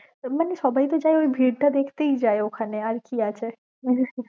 মানে সবাই তো যায়ে ঐ ভিড় টা দেখতেই যায়ে ঐখানে, আর কি আছে